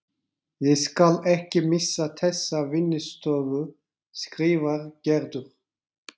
Ég skal ekki missa þessa vinnustofu skrifar Gerður.